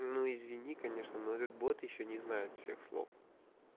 ну извини конечно но этот бот ещё не знает всех слов